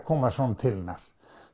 koma svona til hennar